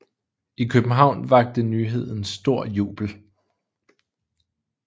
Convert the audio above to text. I København vakte nyheden stor jubel